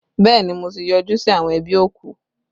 Bẹẹ ni, mo ti yọjú sí àwọn ẹbí òkú!